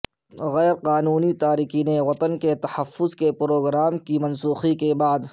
غیر قانونی تارکین وطن کے تحفظ کے پروگرام کی منسوخی کے بعد